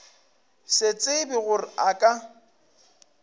se tsebe gore a ka